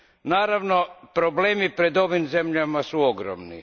Naravno, problemi pred ovim zemljama su ogromni.